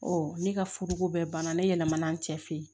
ne ka furuko bɛɛ banna ne yɛlɛmana n cɛ fɛ yen